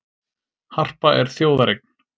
Harpa er þjóðareign